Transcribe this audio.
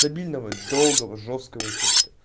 дебильного долгого жёсткого эффекта